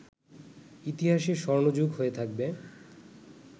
ইতিহাসে ‘স্বর্ণযুগ’ হয়ে থাকবে